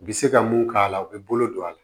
U bi se ka mun k'a la u be bolo don a la